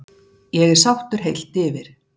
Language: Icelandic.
Ég er sáttur heilt yfir.